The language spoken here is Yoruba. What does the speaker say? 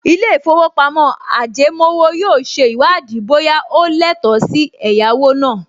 Ilé-ìfowópamọ́ ajẹmówò yóò ṣe ìwádìí bóyá o lẹ́tọ̀ọ́ sí ẹ̀yáwó náà